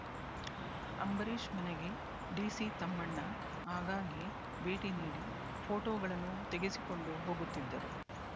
ಅಂಬರೀಶ್ ಮನೆಗೆ ಡಿಸಿ ತಮ್ಮಣ್ಣ ಆಗಾಗ್ಗೆ ಭೇಟಿ ನೀಡಿ ಫೋಟೋಗಳನ್ನು ತೆಗೆಸಿಕೊಂಡು ಹೋಗುತ್ತಿದ್ದರು